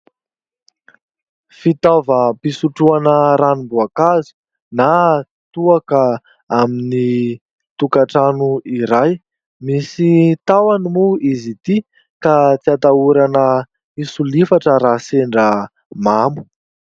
Fitaovam-pisotroana ranomboakazo na toaka amin'ny tokantrano iray. Misy tahony moa izy ity ka tsy atahorana hisolifatra raha sendra mamo.